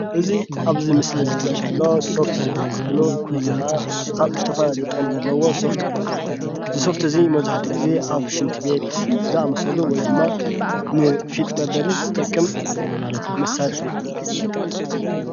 እዚ ኣብዚ ምስሊ ዝርአ ዘሎ ሶፍት ዝበሃል ኮይኑ እዚ ከዓ ዝተፈላለዩ ጥቕሚ ዘለዎ ሶፍቲ እዩ፡፡ እዚ ሶፍቲ እዚ መብዛሕትኡ ግዜ ኣብ ሽንቲ ቤት ዝኣምሰሉ ወይ ድማ ንፊጥ መበሊ ዝጠቅም መሳርሒ እዩ፡፡